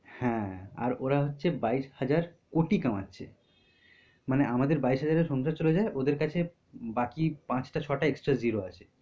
হ্যাঁ আর ওরা হচ্ছে বাইশ হাজার কোটি কামাচ্ছে। মানে আমাদের বাইশ হাজারে সংসার চলে যায় ওদের কাছে বাকি পাঁচটা ছয়টা extra zero আছে।